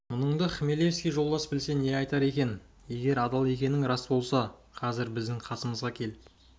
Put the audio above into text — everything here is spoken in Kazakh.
мұныңды хмелевский жолдас білсе не айтар екен егер адал екенің рас болса қазір біздің қасымызға кел